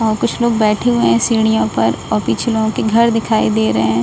वहां कुछ लोग बैठे हुए है सीढ़ियों पर और पीछे लोगो के घर दिखाई दे रहे है।